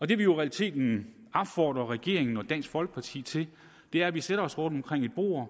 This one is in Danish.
det vi jo i realiteten opfordrer regeringen og dansk folkeparti til er at vi sætter os rundt omkring et bord